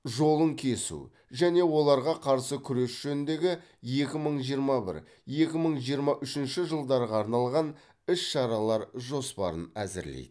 жолын кесу және оларға қарсы күрес жөніндегі екі мың жиырма бір екі мың жиырма үшінші жылдарға арналған іс шаралар жоспарын әзірлейді